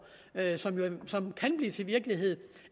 som kan blive til virkelighed